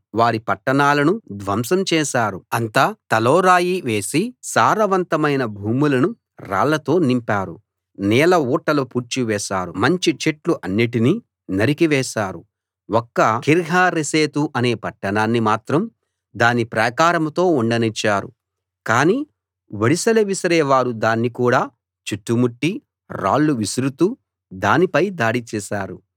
వాళ్ళ పట్టణాలను ధ్వంసం చేశారు అంతా తలో రాయి వేసి సారవంతమైన భూములను రాళ్ళతోనింపారు నీళ్ళ ఊటలు పూడ్చివేశారు మంచి చెట్లు అన్నిటినీ నరికి వేశారు ఒక్క కీర్హరెశెతు అనే పట్టణాన్ని మాత్రం దాని ప్రాకారంతో ఉండనిచ్చారు కానీ ఒడిసెల విసిరే వారు దాన్ని కూడా చుట్టుముట్టి రాళ్ళు విసురుతూ దానిపై దాడి చేశారు